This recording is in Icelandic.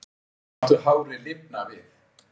Láttu hárið lifna við